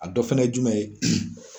A dɔ fɛnɛ ye jumɛn ye ?